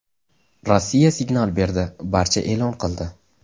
Rossiya signal berdi, barcha e’lon qildi.